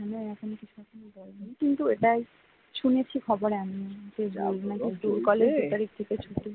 কিন্তু এটাই শুনেছি খবরে আমি আপনাদের স্কুল কলেজ দু তারিখ থেকে ছুটি